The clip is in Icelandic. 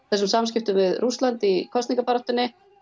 þessum samskiptum við Rússland í kosningabaráttunni